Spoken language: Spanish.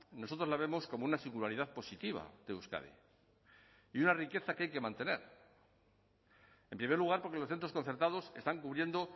nosotros la vemos como una singularidad positiva de euskadi y una riqueza que hay que mantener en primer lugar porque los centros concertados están cubriendo